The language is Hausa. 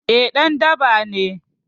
Eh ɗan daba ne